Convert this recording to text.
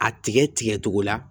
A tigɛ tigɛ cogo la